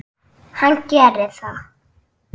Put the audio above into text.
Hann gerir það.